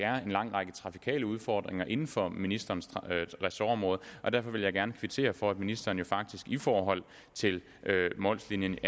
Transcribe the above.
en lang række trafikale udfordringer inden for ministerens ressortområde derfor vil jeg gerne kvittere for at ministeren i forhold til mols linjen